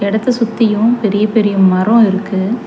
எடத்த சுத்தியு பெரிய பெரிய மரோ இருக்கு.